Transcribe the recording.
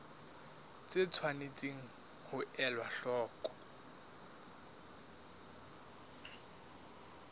tse tshwanetseng ho elwa hloko